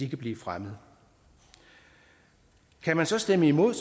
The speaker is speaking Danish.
kan blive fremmet kan man så stemme imod